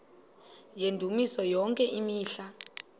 yendumiso yonke imihla